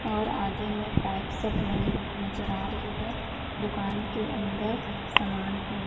और आगे में पाइप सब लगी हुई नज़र आ रही है दुकान के अंदर सामान है।